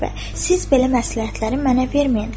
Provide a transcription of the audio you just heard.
Siz belə məsləhətləri mənə verməyin.